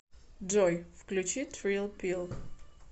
джой включи трилл пилл